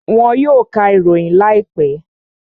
Wọn yóò ka ìròyìn láìpẹ́